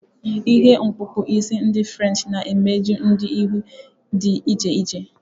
Ihe okpukpu isi ndi French na-emeju ụdị ihu dị iche iche.